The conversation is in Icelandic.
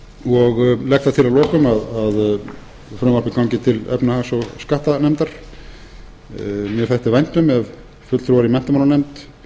og legg það til að lokum að frumvarpið gangi til efnahags og skattanefndar mér þætti vænt um ef fulltrúar í menntamálanefnd